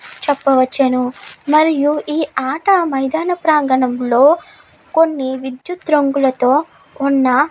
చెప్పవచ్చును మరియు ఈ ఆట మైదాన ప్రాంగణం లో కొన్ని విద్యుత్ రంగులతో ఉన్న --